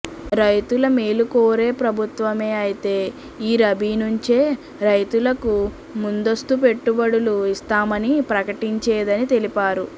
రైతుల మేలు కోరే ప్రభుత్వమే అయితే ఈ రబీ నుంచే రైతులకు ముందస్తు పెట్టుబడులు ఇస్తామని ప్రకటించేదని తెలిపారు